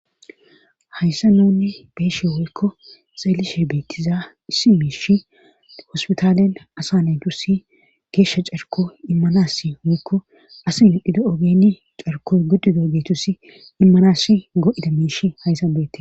hayssa nunni beeshe woykko xeelishe beettiza issi miish hospitaalen asa naydusi geeshsha carko immanasi hoykko as modhida ogeni carkoy gudduda ogeetusi immanassi go7ida miish hayssa beette